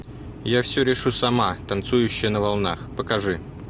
я все решу сама танцующая на волнах покажи